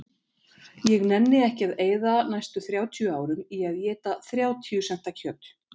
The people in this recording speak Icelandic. Ég nenni ekki að eyða næstu þrjátíu árum í að éta þrjátíu senta kjöt